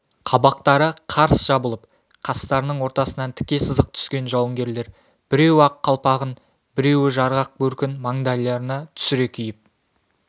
қабақтары қарс жабылып қастарының ортасынан тіке сызық түскен жауынгерлер біреуі ақ қалпағын біреуі жарғақ бөркін маңдайларына түсіре киіп